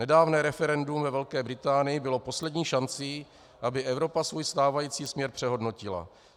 Nedávné referendum ve Velké Británii bylo poslední šancí, aby Evropa svůj stávající směr přehodnotila.